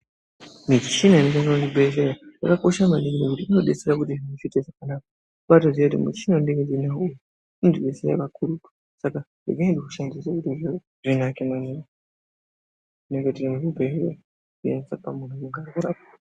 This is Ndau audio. Michina inoonekwa muzvibhehlera yakakosha maningi ngekuti inodetsera kuti zviite zvakanaka. Kubaatoziye kuti muchina vandiinavo uyu unondidetsera kakurutu saka ngekuti unoite kuti zvinake maningi muntu akwanise kurapwa.